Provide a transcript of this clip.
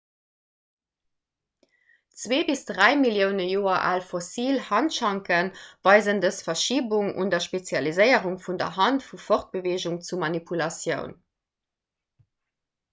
zwee bis dräi millioune joer al fossil handschanke weisen dës verschibung an der spezialiséierung vun der hand vu fortbeweegung zu manipulatioun